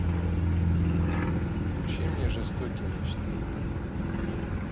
включи мне жестокие мечты